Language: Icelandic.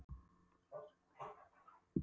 Eftir smástund myndi bletturinn koma í ljós.